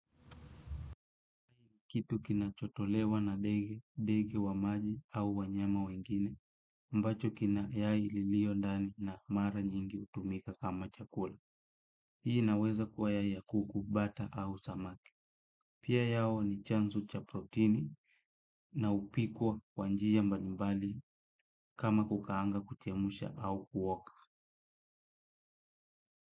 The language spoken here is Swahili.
Kitu kinachotolewa na ndege, ndege wa maji au wanyama wengine ambacho kina yai lilio ndani na mara nyingi hutumika kama chakula. Hii inaweza kuwa yai ya kuku, bata au samaki. Pia yao ni chanzo cha proteni na hupikwa kwa njia mbalimbali. Kama kukaanga, kuchemsha au kuoka.